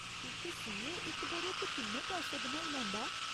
इक सीए इक ब'रे च किन्ने पैसे बनाई लैंदा ऐ ?